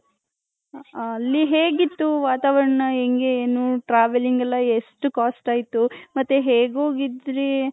ಅಲ್ಲಿ ಹೆಗಿತು ವಾತಾವರಣ ಹೆಂಗೆ ಏನು travelling ಎಲ್ಲಾ ಎಷ್ಟು cost ಆಯ್ತು ಮತ್ತೆ ಹೇಗ್ ಹೋಗಿದ್ರಿ.